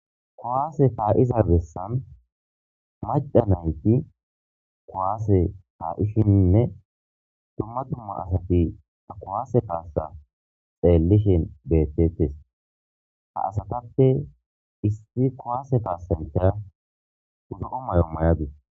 Kuwase kaiza beesani macha nayit kuwase kaishen duuma duuma asati ha kuwase kaasa xelishen betetes ha asatape issi kuwase kasanichya zoo maayo mayadusi.